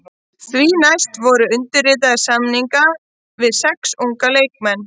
Því næst voru undirritaðir samningar við sex unga leikmenn.